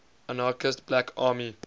anarchist black army